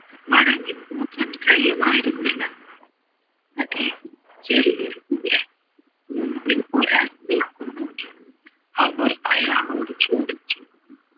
മടങ്ങി പോകാൻ കഴിയുമായിരുന്നില്ല അതെ ചെറിയൊരു മുമ്പിൽ ഒരാൾ നില്കുന്നു അവർ അയാളോട് ചോദിച്ചു